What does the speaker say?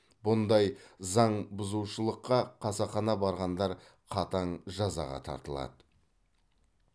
бұндай заң бұзушылыққа қасақана барғандар қатаң жазаға тартылады